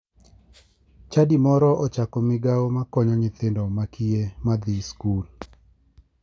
Chadi moro ochako migao makonyo nyithindo makiye madhi skul.